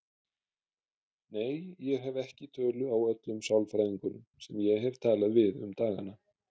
Nei, ég hef ekki tölu á öllum sálfræðingunum sem ég hef talað við um dagana.